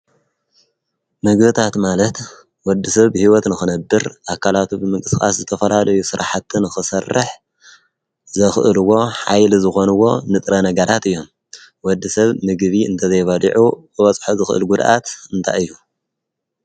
ምግብታት ማለት ወዲ ሰብ ብህይወት ንኽነብር ኣካላቱ ብምንስቃስ ዝተፈላለዩ ስራሕትን ኽሰርሕ ዘኽእልዎ ሓይሊ ዝኾንዎ ንጥረ ነገራት እዮም ወዲ ሰብ ምግቢ እንተዘይበሊዑ ክበፅሖ ዝኽእል ጕድኣት እንታይ እዩ?